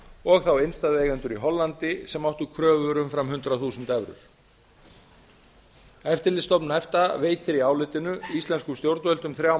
og þá innstæðueigendur í hollandi sem áttu kröfur umfram hundrað þúsund evrur eftirlitsstofnun efta veitir í álitinu íslenskum stjórnvöldum þrjá